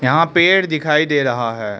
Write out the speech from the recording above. यहां पेड़ दिखाई दे रहा है।